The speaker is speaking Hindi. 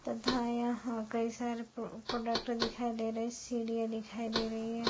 तथा यहाँ कई सारे प्रो-प्रोडक्ट दिखाई दे रहे हैं सीढियाँ दिखाई दे रही है।